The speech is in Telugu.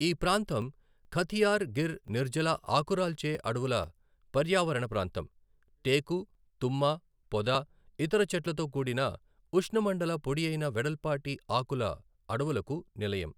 ఈ ప్రాంతం ఖతియార్ గిర్ నిర్జల ఆకురాల్చే అడవుల పర్యావరణ ప్రాంతం, టేకు, తుమ్మ పొద, ఇతర చెట్లతో కూడిన ఉష్ణమండల పొడియైన వెడల్పాటి ఆకుల అడవులకు నిలయం.